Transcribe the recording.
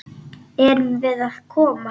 Erum við að koma?